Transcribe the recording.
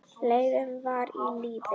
Leifur var á lífi.